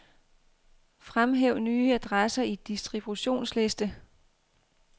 Fremhæv nye adresser i distributionsliste.